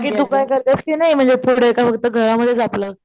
बाकी तू काय करतेस कि नाही म्हणजे का घरमध्येच आपलं?